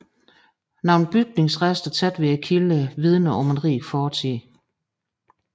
Nogle bygningsrester tæt ved kilderne vidner om en rig fortid